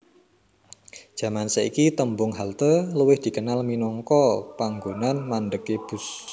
Jaman saiki tembung halte luwih dikenal minangka panggonan mandhegé bus